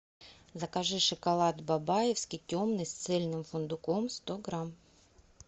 закажи шоколад бабаевский темный с цельным фундуком сто грамм